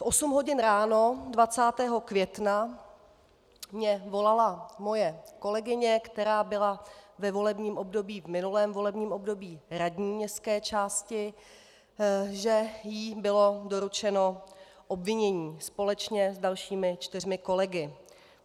V osm hodin ráno 20. května mě volala moje kolegyně, která byla ve volebním období, v minulém volebním období, radní městské části, že jí bylo doručeno obvinění společně s dalšími čtyřmi kolegy.